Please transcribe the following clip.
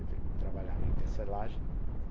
Ele trabalhava em tecelagem.